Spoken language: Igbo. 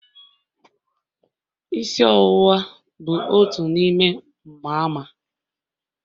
Isi ọwụwa bụ otu n'ime mgbaàmà..